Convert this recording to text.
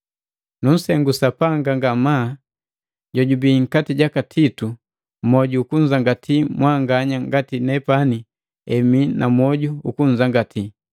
Nunsengu Sapanga ngamaa jojubei nkati jaka Titu moju ukunzangati mwanganya ngati nepani emii na mwoju ukunzangati.